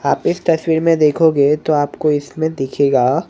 आप इस तस्वीर में देखोगे तो आपको इसमें दिखेगा--